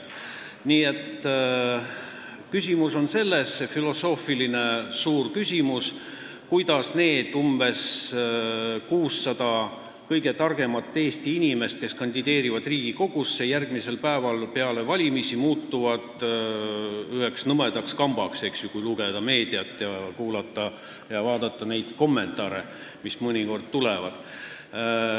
See suur filosoofiline küsimus on, kuidas need umbes 600 kõige targemat Eesti inimest, kes kandideerivad Riigikogusse, muutuvad järgmisel päeval peale valimisi üheks nõmedaks kambaks, kui lugeda meediat, kuulata ja vaadata neid kommentaare, mis mõnikord tulevad.